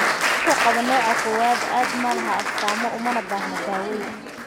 Dadka qaba nooca kowaad-aad ma laha astaamo umana baahna daaweyn.